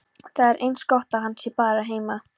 Það er eins gott að hann sé bara heima.